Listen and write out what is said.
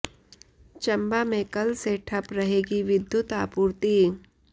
चंबा में कल से ठप रहेगी विद्युत आपूर्ति